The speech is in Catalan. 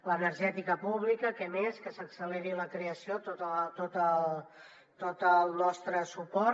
l’energètica pública què millor que se n’acceleri la creació tot el tot el nostre suport